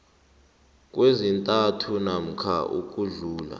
kwezintathu namkha ukudlula